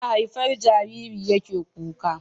Ana haifar Jariri yake kuka